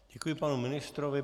Děkuji panu ministrovi.